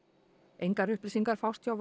engar upplýsingar fást hjá